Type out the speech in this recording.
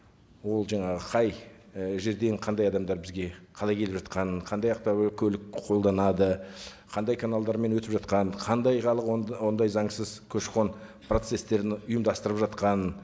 ол жаңағы қай і жерден қандай адамдар бізге қалай келіп жатқанын қандай автокөлік қолданады қандай каналдармен өтіп жатқанын қандай халық ондай заңсыз көші қон процесстерін ұйымдастырып жатқанын